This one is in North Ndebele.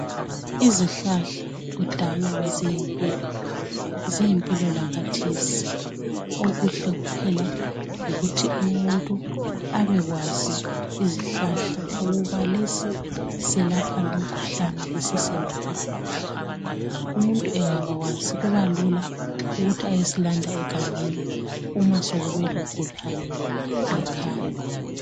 Izihlahla kudala beziyimpilo, ziyimpilo lakhathesi. Okuhle kuphela yikuthi umuntu abekwazi izihlahla ukuba lesi silapha lumkhuhlane lesi selapha lumkhuhlane umuntu engabakwazi kubalula ukuthi ayesilanda egangeni uma sokube logulayo ngekhaya.